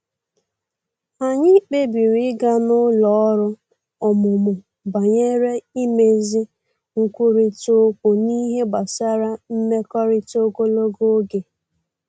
Anyị kpebiri ịga n’ụlọ ọrụ ọmụmụ banyere imezi nkwurịta okwu n’ihe gbasara mmekọrịta ogologo oge